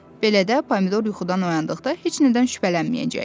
Beləcə Pomidor yuxudan oyandıqda heç nədən şübhələnməyəcəkdi.